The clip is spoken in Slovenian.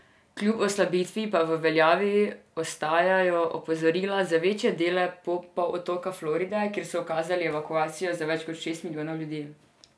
Kljub oslabitvi pa v veljavi ostajajo opozorila za večje dele polotoka Floride, kjer so ukazali evakuacijo za več kot šest milijonov ljudi.